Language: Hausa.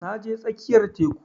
Na je tsakiyar teku